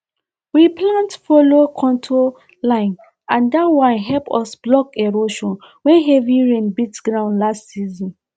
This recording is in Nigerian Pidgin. we plant follow contour line and that one help us block erosion when heavy rain beat ground last season